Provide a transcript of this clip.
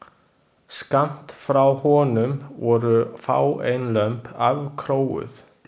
Skammt frá honum voru fáein lömb afkróuð.